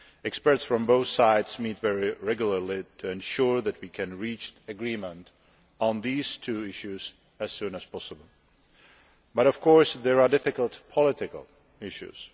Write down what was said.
Experts from both sides meet very regularly to ensure that we can reach agreement on these two issues as soon as possible but, of course, there are difficult political issues.